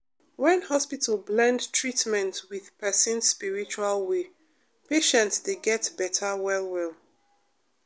when hospital blend treatment with person spiritual way patient dey get better well-well.